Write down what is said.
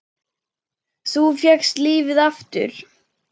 Þú fékkst lífið aftur.